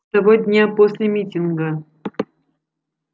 того дня после митинга